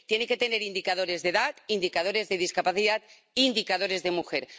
Tiene que tener indicadores de edad, indicadores de discapacidad, indicadores de mujer.